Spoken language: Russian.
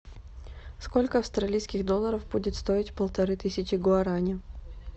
сколько австралийских долларов будет стоить полторы тысячи гуарани